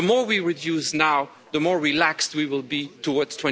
The more we reduce now, the more relaxed we will be towards